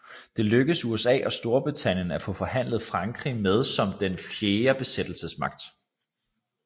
Det lykkedes USA og Storbritannien at få forhandlet Frankrig med som den fjerde besættelsesmagt